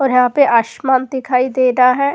और यहाँ पे आशमाँ दिखाई दे रहा है।